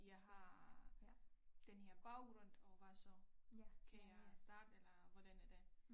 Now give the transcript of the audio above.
Jeg har denne her baggrund og hvad så kan jeg starte eller hvordan er det